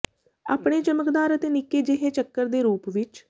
ਆਪਣੇ ਚਮਕਦਾਰ ਅਤੇ ਨਿੱਕੇ ਜਿਹੇ ਚੱਕਰ ਦੇ ਰੂਪ ਵਿੱਚ